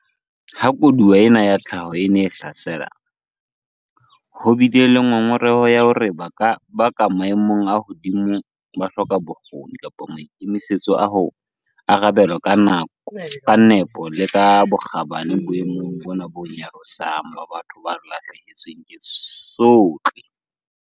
Ha koduwa ena ya tlhaho e ne e hlasela, ho bile le ngongoreho ya hore ba ka maemong a hodimo ba hloka bokgoni kapa maikemisetso a ho arabela ka nepo le ka bokgabane boemong bona bo nyarosang ba batho ba lahlehetsweng ke tsohle.